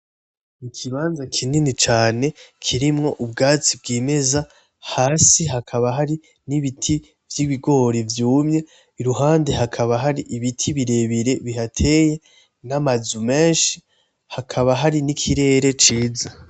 Ikibanza kinini cane kirimwo ubwatsi bwimeza hasi hakaba hari n'ibiti vy'ibigori vyumye, iruhande hakaba har'ibiti birebire bihateye n'amazu menshi, hakaba hari n'ikirere ciza .